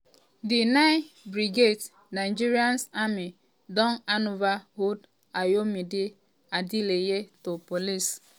"di um 9 brigade nigerian army don handover 23-year-old ayomide adeleye to police. um